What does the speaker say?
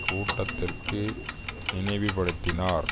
கூட்டத்திற்கு நினைவுபடுத்தினார்